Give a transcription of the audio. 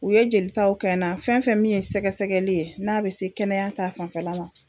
U ye jelitaw kɛ n na fɛn fɛn min ye sɛgɛsɛgɛli ye n'a bɛ se kɛnɛya ta fanfɛla la.